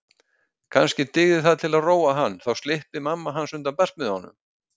Kannski dygði það til að róa hann og þá slyppi mamma undan barsmíðunum.